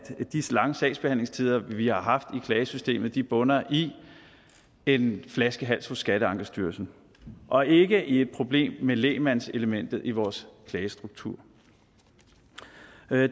disse lange sagsbehandlingstider vi har haft i klagesystemet bunder i en flaskehals hos skatteankestyrelsen og ikke i et problem med lægmandselementet i vores klagestruktur